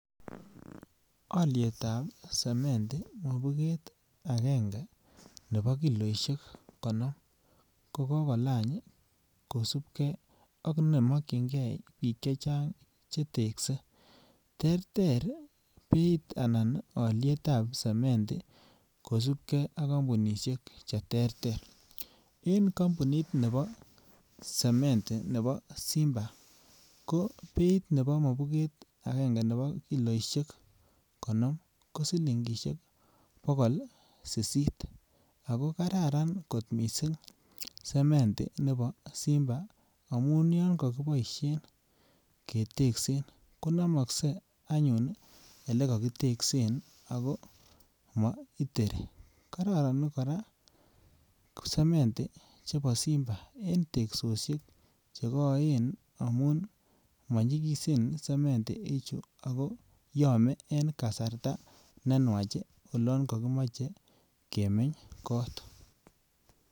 Olyetab semendi mokubet angenge nebo kiloishek konom ko kogolany kosubgee ak ne mokyingee biik chechang che tekse. Terter beit anan olyetab semendi kosubgee ak kompunishek che terter en kompunit nebo semendi nebo Simba ko beit nebo mokubet angenge nebo kiloishek konom ko siligishek bogol sisit ako kararan kot missing semendi nebo Simba amun yon kokiboishen keteksen ko nomokse anyun ole kokiteksen ako moiteri. Kororon koraa semendi chebo Simba en teksoshek che Koen amun monyigisen semendi ichu ako yome en kasarta ne nwach ii olon kokimoche kemeny kot